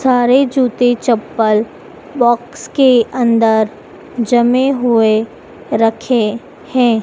सारे जूते चप्पल बॉक्स के अंदर जमे हुए रखे हैं।